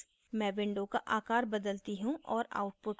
मैं window का आकार बदलती हूँ और output को समझाती हूँ